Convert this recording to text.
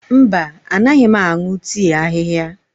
Mba, anaghị m aṅụ tii ahihia.